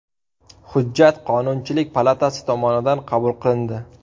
Hujjat Qonunchilik palatasi tomonidan qabul qilindi.